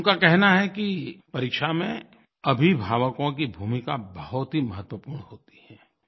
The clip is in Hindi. उनका कहना है कि परीक्षा में अभिभावकों की भूमिका बहुत ही महत्वपूर्ण होती है